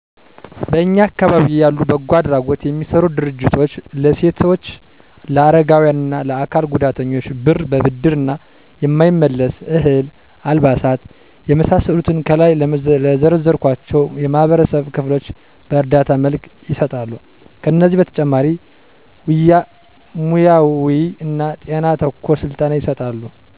በእኛ አካባቢ ያሉ በጎ አድራጎት የሚሰሩ ድርጅቶች ለሴቶች ለአረጋዊያን እና ለአካል ጉዳተኞች ብር በብድር እና የማይመለስ፤ እህል፤ አልባሳት የመሳሰሉትን ከላይ ለዘረዘርኳቸው የማህበረሰብ ክፍሎች በእርዳታ መልክ ይሰጣሉ። ከዚህ በተጨማሪ ሙያውይ እና ጤና ተኮር ስልጠና ይሰጣሉ።